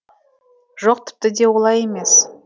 жоқ тіпті де олай емес